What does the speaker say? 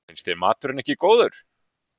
Finnst þér maturinn ekki góður?